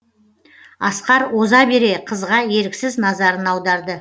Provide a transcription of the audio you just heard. асқар оза бере қызға еріксіз назарын аударды